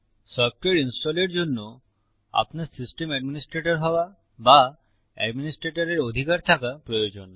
software ইনস্টলের জন্য আপনার সিস্টেম অ্যাডমিনিস্ট্রেটর হওয়া বা অ্যাডমিনিস্ট্রেটরের অধিকার থাকা প্রয়োজন